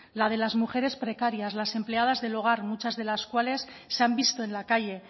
la de las mujeres precarias las empleadas del hogar muchas de las cuales se han visto en la calle